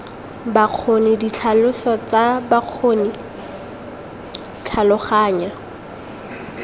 bokgoni ditlhaloso tsa bokgoni tlhaloganya